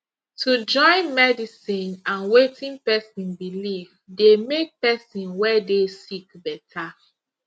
to join medicine and wetin pesin believe dey make pesin wey dey sick better